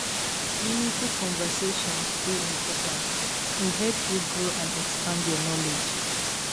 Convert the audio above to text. Meaningful conversation dey important; e help you grow and expand your knowledge.